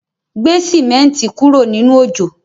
Gbé símẹ́ǹti kúrò nínú òjò